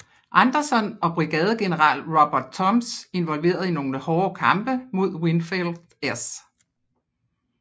Anderson og brigadegeneral Robert Toombs involveret i nogle hårde kampe mod Winfield S